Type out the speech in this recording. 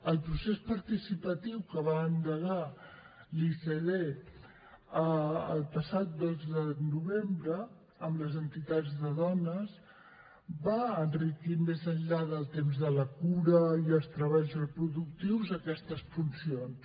el procés participatiu que va endegar l’icd el passat dos de novembre amb les entitats de dones va enriquir més enllà del temps de la cura i els treballs reproductius aquestes funcions